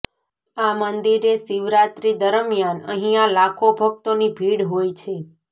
આ મંદિરે શિવરાત્રી દરમિયાન અહિયા લાખો ભક્તો ની ભીડ હોય છે